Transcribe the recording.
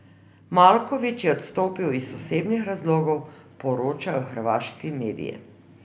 Maljković je odstopil iz osebnih razlogov, poročajo hrvaški mediji.